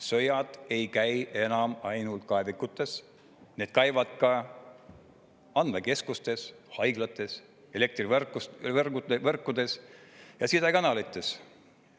Sõjad ei käi enam ainult kaevikutes, need käivad ka andmekeskustes, haiglates, elektrivõrkudes ja sidekanalites.